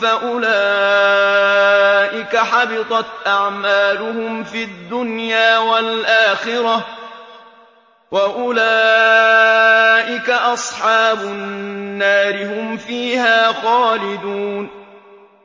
فَأُولَٰئِكَ حَبِطَتْ أَعْمَالُهُمْ فِي الدُّنْيَا وَالْآخِرَةِ ۖ وَأُولَٰئِكَ أَصْحَابُ النَّارِ ۖ هُمْ فِيهَا خَالِدُونَ